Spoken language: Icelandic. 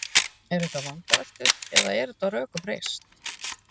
Eru þetta vangaveltur eða er þetta á rökum reist?